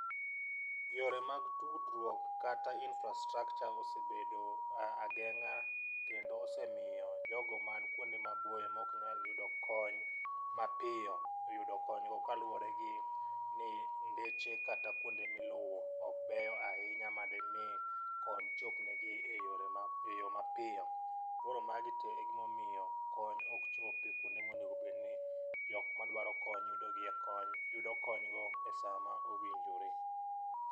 Yore mag tudruok kata infrastructure osebedo ageng'a kendo osemiyo jogo man kuonde maboyo mok nyal yudo kony mapiyo yudo konygo kaluwore gi ni ndeche kata kuonde miluwo ok beyo ahinya madimi kony chop negi e yore mapiyo mapiyo . Koro magi te gimomiyo kony ok chopi kuonde monego bed ni jok madwaro kony yudo gie kony yudo kony go e saa ma owinjore .